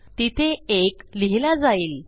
तिथे 1 लिहिला जाईल